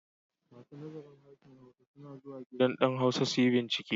Masu nazarin Harshen Hausa suna zuwa gidan ɗan Hausa su yi bincike.